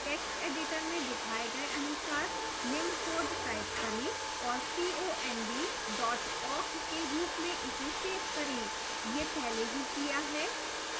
text editor में दिखाए गए अनुसार निम्न code type करें और cond dot awk के रूप में इसे सेव करें पहले यह पहले ही किया है